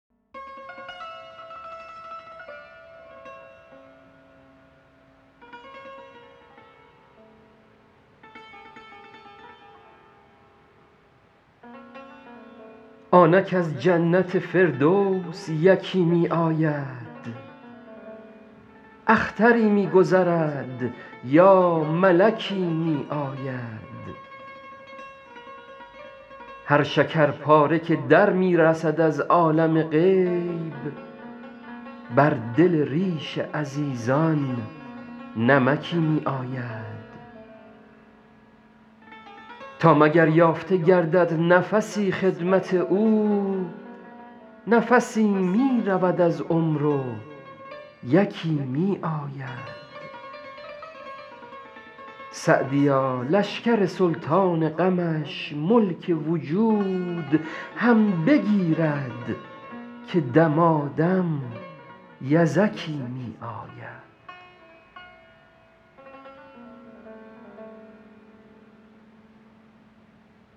آنک از جنت فردوس یکی می آید اختری می گذرد یا ملکی می آید هر شکرپاره که در می رسد از عالم غیب بر دل ریش عزیزان نمکی می آید تا مگر یافته گردد نفسی خدمت او نفسی می رود از عمر و یکی می آید سعدیا لشکر سلطان غمش ملک وجود هم بگیرد که دمادم یزکی می آید